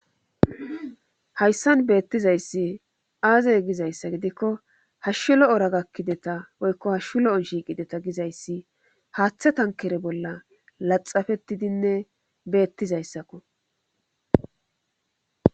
hayssan beettizayssi aazey gizayssa gidikko hashshulo ora gakkideta woykko hashshu lo7on shiiqideta gizayssi haaththe tankere bolla laxafetidinne beettizayssakko